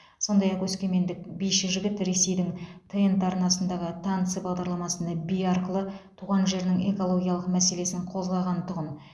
сондай ақ өскемендік биші жігіт ресейдің тнт арнасындағы танцы бағдарламасында би арқылы туған жерінің экологиялық мәселесін қозғаған тұғын